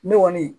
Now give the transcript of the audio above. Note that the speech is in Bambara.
Ne kɔni